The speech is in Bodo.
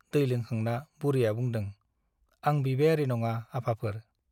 दै लोंखांना बुरैया बुंदों- आंबिबायारी नङा आफाफोर ।